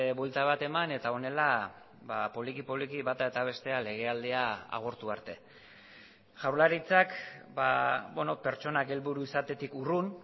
buelta bat eman eta honela poliki poliki bata eta bestea legealdia agortu arte jaurlaritzak pertsonak helburu izatetik urrun